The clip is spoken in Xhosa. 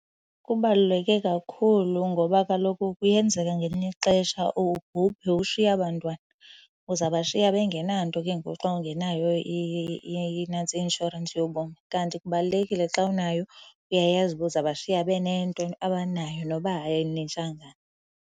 Kubaluleke kakhulu ngoba kaloku kuyenzeka ngelinye ixesha ubhubhe ushiye aba 'ntwana. Uzawubashiya bengenanto ke ngoku xa ungenayo inantsika, i-inshorensi yobomi kanti kubalulekile xa unayo uyayazi uba uzawubashiya benento abanayo noba ayinintsanga.